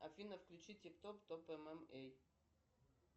афина включи тик топ топ эм эм эй